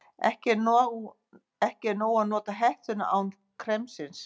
Ekki er nóg að nota hettuna án kremsins.